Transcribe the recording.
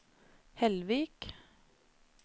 Hellvik